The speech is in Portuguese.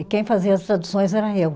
E quem fazia as traduções era eu.